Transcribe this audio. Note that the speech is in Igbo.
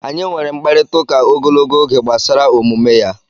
Anyị nwere mkparịtaụka ogologo oge gbasara omume ya.